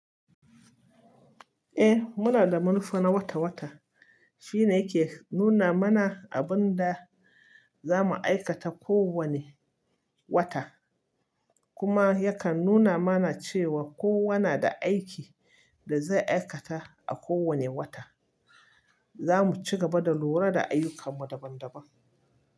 Eh muna da manufa na wata-wata. Shi ne yake nuna mana abin da za mu aikata kowane wata, kuma yakan nuna mana cewa kowa na da aikin da zai aikata a kowane wata. Za mu ci gaba da lura da ayyukan mu daban-daban.